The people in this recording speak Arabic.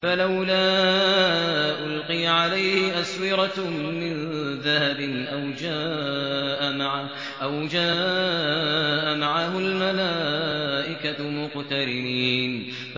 فَلَوْلَا أُلْقِيَ عَلَيْهِ أَسْوِرَةٌ مِّن ذَهَبٍ أَوْ جَاءَ مَعَهُ الْمَلَائِكَةُ مُقْتَرِنِينَ